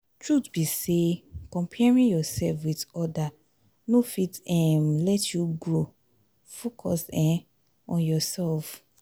truth be sey comparing yoursef with other no fit um let you grow focus um on yoursef.